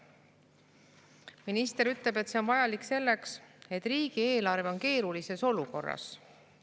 Minister ütleb, et see on vajalik selleks, et riigieelarve on keerulises olukorras.